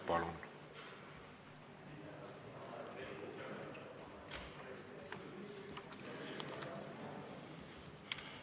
Palun!